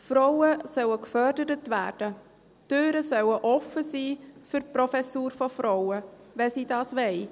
Frauen sollen gefördert werden, die Türen sollen offen sein für die Professur von Frauen, wenn sie das wollen.